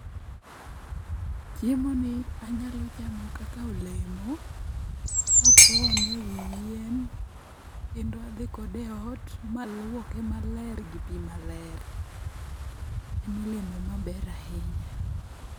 Chiemoni anyalo chamo kaka olemo kapone ewi yien, kendo adhi kode eot maluoke maler gi pi maler. En olemo maber ahinya.